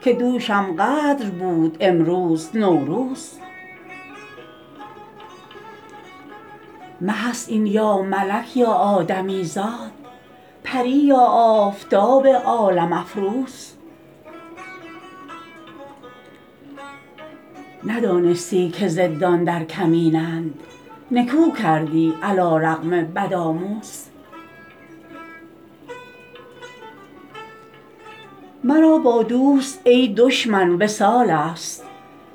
که دوشم قدر بود امروز نوروز مه است این یا ملک یا آدمی زاد پری یا آفتاب عالم افروز ندانستی که ضدان در کمینند نکو کردی علی رغم بدآموز مرا با دوست ای دشمن وصال است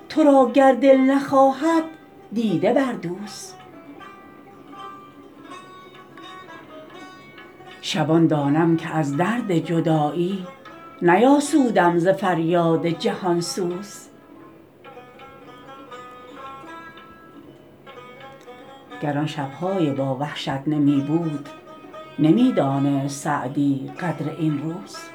تو را گر دل نخواهد دیده بردوز شبان دانم که از درد جدایی نیاسودم ز فریاد جهان سوز گر آن شب های با وحشت نمی بود نمی دانست سعدی قدر این روز